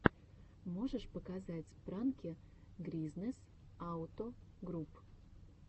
можешь показать пранки гризнэс ауто груп